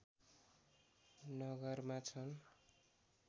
नगरमा छन्